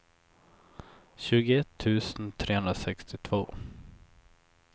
tjugoett tusen trehundrasextiotvå